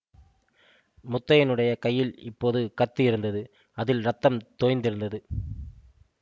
முத்தையனுடைய கையில் இப்போது கத்தி இருந்தது அதில் இரத்தம் தோய்ந்திருந்தது